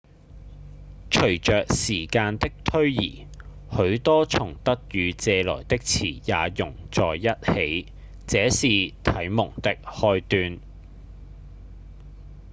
隨著時間的推移許多從德語借來的詞也融在一起這是啟蒙的開端